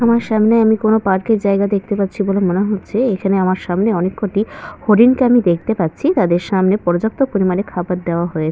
আমার সামনে আমি কোন পার্ক এর জায়গা দেখতে পাচ্ছি বলে হচ্ছে। এখানে আমার সামনে অনেক কটি হরিণ কে আমি দেখতে পাচ্ছি তাদের সামনে পর্যাপ্ত পরিমানে খাবার দেওয়া হয়ে--